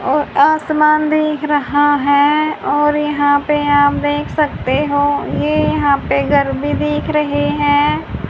और आसमान दिख रहा हैं और यहां पे आप देख सकते हो ये यहां पे घर भी दिख रहे हैं।